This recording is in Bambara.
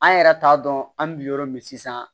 An yɛrɛ t'a dɔn an bɛ bi yɔrɔ min sisan